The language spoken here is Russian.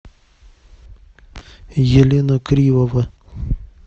елена кривова